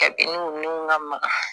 Kabiniw ka maka